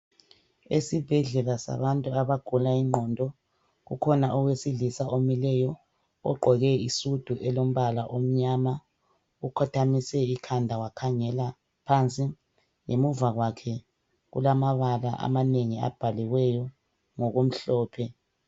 Esibhedlela sabantu abagula ingqondo, kukhona owesilisa omileyo. Ogqoke isudu elombala omnyama. Ukhothamise ikhanda wakhangela phansi. Ngemuva kwakhe, kulamabala amanengi abhaliweyo ngokumhlophe.